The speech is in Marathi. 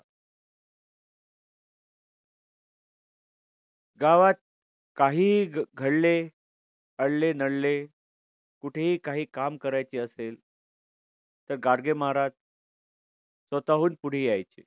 गावात काहीही घडले अडले नडले कुठेही काही काम करायचे असेल तर गाडगे महाराज स्वतःहून पुढे यायचे.